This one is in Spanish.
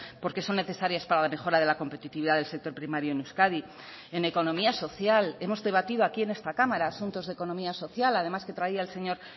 porque son necesarias para la mejora de la competitividad del sector primario en euskadi en economía social hemos debatido aquí en esta cámara asuntos de economía social además que traía el señor